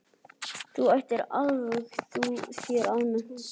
Þú ættir að útvega þér almennileg skilríki.